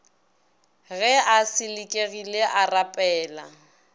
ge a selekegile a rapela